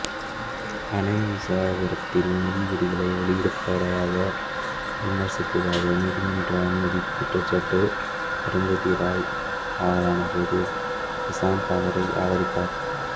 அணை விசாரணையில் நீதிபதிகளை வெளிப்படையாக விமர்சித்ததற்காக நீதிமன்ற அவமதிப்பு குற்றச்சாட்டுக்கு அருந்ததி ராய் ஆளானபோது பிரசாந்த் அவரை ஆதரித்தார்